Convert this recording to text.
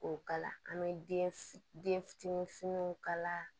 O kala an bɛ den fitinin den fitinin fitininw kala